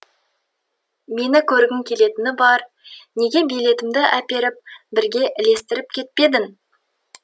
мені көргің келетіні бар неге билетімді әперіп бірге ілестіріп кетпедің